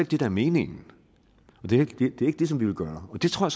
det der er meningen det er ikke det som vi vil gøre det tror